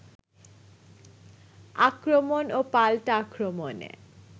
আক্রমণ ও পাল্টা আক্রমণে